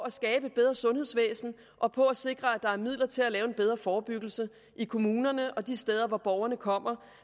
at skabe et bedre sundhedsvæsen og på at sikre at der er midler til at lave en bedre forebyggelse i kommunerne og de steder hvor borgerne kommer